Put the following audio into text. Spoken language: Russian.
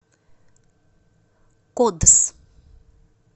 кодс